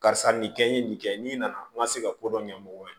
Karisa nin kɛ n ye nin kɛ n'i nana n ma se ka kodɔn ɲɛ mɔgɔ ye